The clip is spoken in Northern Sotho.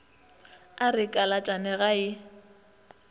a re kalatšane ga e